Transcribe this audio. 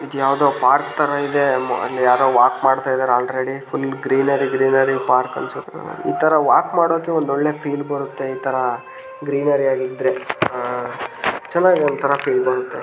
ಇದ್ ಯಾವುದೋ ಪಾರ್ಕ್ ತರ ಇದೆ. ಮ್ ಅಲ್ ಯಾರೋ ವಾಕ್ ಮಾಡ್ತಾ ಇದ್ದಾರೆ already . Full greenery greenery park ಅನ್ಸುತ್ತೆ. ಇತರ ವಾಕ್ ಮಾಡಕ್ಕೆ ಒಂದ್ ಒಳ್ಳೆ ಫೀಲ್ ಬರುತ್ತೆ. ಇತರ ಗ್ರೀನರಿ ಇದ್ರೆ. ಅಹ್ ಚನ್ನಾಗಿ ಒಂತರ ಫೀಲ್ ಬರುತ್ತೆ.